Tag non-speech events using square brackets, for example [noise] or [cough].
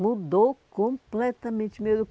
mudou completamente [unintelligible]